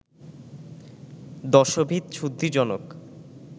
দশবিধ শুদ্ধিজনক